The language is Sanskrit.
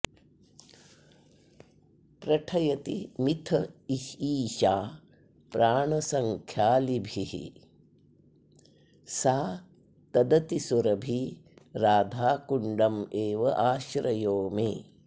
प्रठयति मिथ ईशा प्राणसख्यालिभिः सा तदतिसुरभि राधाकुण्डमेवाश्रयो मे